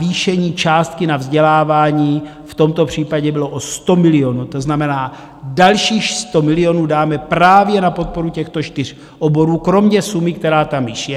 Navýšení částky na vzdělávání v tomto případě bylo o 100 milionů, to znamená, dalších 100 milionů dáme právě na podporu těchto čtyř oborů kromě sumy, která tam již je.